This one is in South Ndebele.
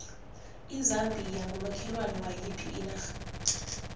izambia ngumakhelwane wayiphi inarha